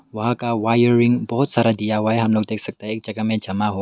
वहां का वायरिंग बहुत सारा दिया हुआ है हम लोग देख सकते हैं एक जगह में जमा हुआ--